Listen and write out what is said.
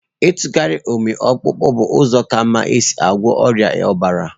Ịtụgharị ụmị ọkpụkpụ bụ ụzọ ka mma isi gwọọ ọrịa ọbara.